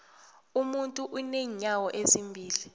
umuntu unenyawo ezimbili